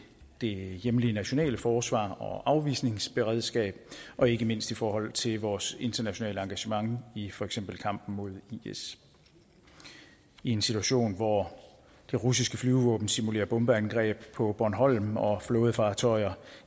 det hjemlige nationale forsvar og afvisningsberedskab og ikke mindst i forhold til vores internationale engagement i for eksempel kampen mod is i en situation hvor det russiske flyvevåben simulerer bombeangreb på bornholm og flådefartøjer